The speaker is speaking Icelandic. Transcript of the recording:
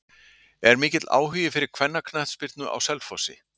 Er mikill áhugi fyrir kvennaknattspyrnu á Selfossi?